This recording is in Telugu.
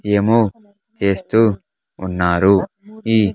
ఏమో ఎస్తూ ఉన్నారు ఈ.